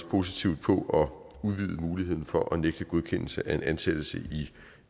positivt på at udvide muligheden for at nægte godkendelse af en ansættelse i